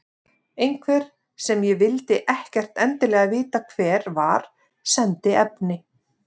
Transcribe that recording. Einhver, sem ég vildi ekkert endilega vita hver var, sendi efni.